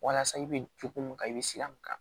Walasa i be cogo mun ka i be sira mun kan